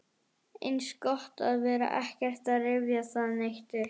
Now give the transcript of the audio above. Eins gott að vera ekkert að rifja það neitt upp.